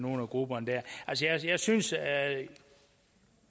nogle af grupperne altså jeg synes at